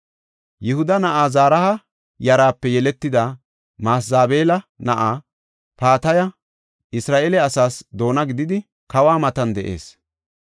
Yihuda na7aa Zaraha yaraape yeletida Masezabeela na7aa Pataha Isra7eele asaas doona gididi, kawa matan de7ees.